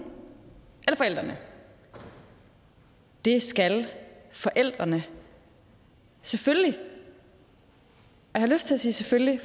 eller forældrene det skal forældrene selvfølgelig jeg har lyst til at sige selvfølgelig